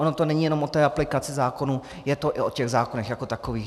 Ono to není jenom o té aplikaci zákonů, je to i o těch zákonech jako takových.